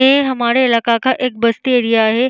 ये हमरे इलाका का एक बस्ती एरिया है।